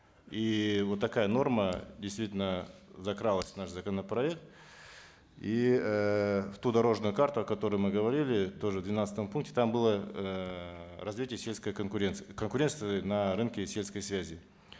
и вот такая норма действительно закралась в наш законопроект и эээ в ту дорожную карту о которой мы говорили тоже в двенадцатом пункте там было эээ развитие сельской конкуренции конкуренции на рынке сельской связи